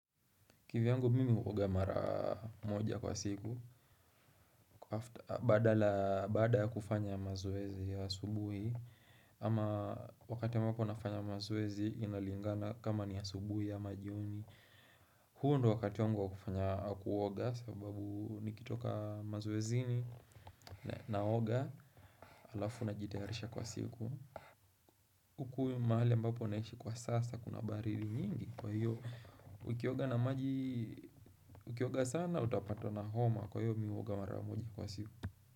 Kivyangu mimi huoga mara moja kwa siku. Bada kufanya mazoezi ya asubuhi. Ama wakati ambapo nafanya mazoezi inalingana kama ni asubuhi ama jioni. Huo ndo wakati wangu wa kufanya kuoga sababu nikitoka mazoezini, naoga alafu najitayarisha kwa siku. Huku mahali ambapo naishi kwa sasa kuna baridi nyingi kwa hiyo, ukioga na maji Ukioga sana utapatwa na homa kwa hiyo mi huoga mara moja kwa siku.